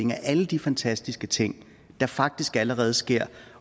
alle de fantastiske ting der faktisk allerede sker